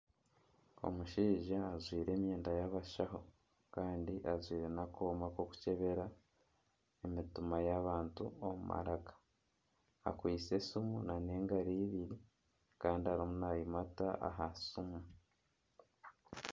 Omushaija ajwaire emyenda y'abashaho kandi ajwaire n'akooma k'okukyebera emitima y'abantu omu maraka akwaitse esiimu na n'engaro ibiri kandi arimu nayimata aha siimu.